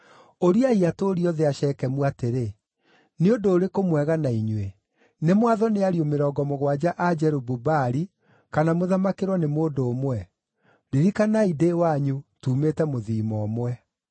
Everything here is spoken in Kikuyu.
“Ũriai atũũri othe a Shekemu atĩrĩ, ‘Nĩ ũndũ ũrĩkũ mwega na inyuĩ. Nĩ mwathwo nĩ ariũ mĩrongo mũgwanja a Jerubu-Baali, kana mũthamakĩrwo nĩ mũndũ ũmwe?’ Ririkanai ndĩ wanyu, tuumĩte mũthiimo ũmwe.”